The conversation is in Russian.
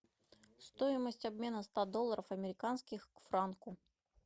стоимость обмена ста долларов американских к франку